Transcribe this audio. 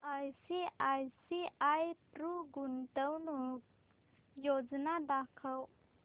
ICICI Pru गुंतवणूक योजना दाखव